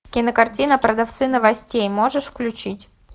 кинокартина продавцы новостей можешь включить